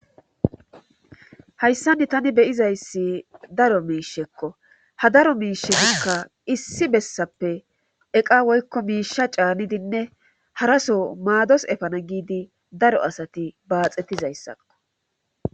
Hayssanni tani beyizayssi daro miishekko ha daro miishe kka issi bessappe eqa woykko miisha caanidinne haraso maados efana giidi daro asati baaxettizayssakko.